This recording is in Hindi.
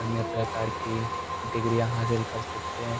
अन्य प्रकार की डिग्रियां हासिल कर सकते हैं।